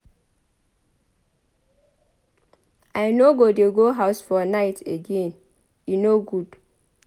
I no go dey go house for night again e no good.